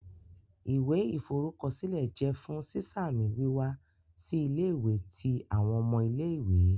Iwẹ iforukọsilẹ jẹ fun siṣamisi wiwa si ile-iwe ti awọn ọmọ ile-iwe.